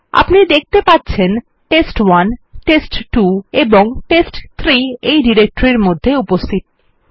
আপনি দেখতে পাচ্ছেন টেস্ট1 টেস্ট2 এবং টেস্ট3 এই ডিরেক্টরির মধ্যে উপস্থিত আছে